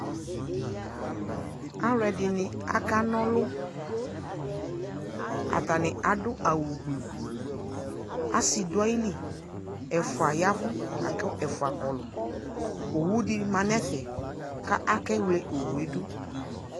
Alʋɛdini akanɔlʋ Atani adʋ awʋ gblʋ Asi dʋ ayili, ɛfʋa ya vʋ lakʋ ɛfua kɔɔlʋ Owu di ma nʋ ɛfɛ ka akewle owu yɛ dʋ